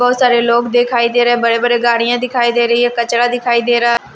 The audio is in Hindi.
बहुत सारे लोग दिखाई दे रहे हैं बड़े-बड़े गाड़ियां दिखाई दे रही है कचरा दिखाई दे रहा --